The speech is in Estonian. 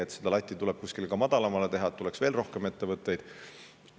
Ja võib-olla tuleb seda latti kuskil ka madalamale, et tuleks veel rohkem ettevõtteid.